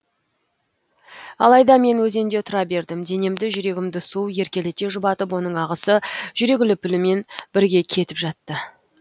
алайда мен өзенде тұра бердім денемді жүрегімді су еркелете жұбатып оның ағысы жүрек лүпілімен бірге кетіп жатты